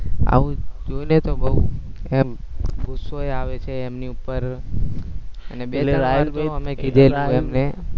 આવું જોઇને તો એમ ગુસ્સો એ આવે છે એમની ઉપર